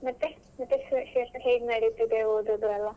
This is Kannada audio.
ಮತ್ತೆ ಎಂಥ ವಿಶೇಷ ಹೇಗ್ ನಡೀತಿದೆ ಓದುದು ಎಲ್ಲ?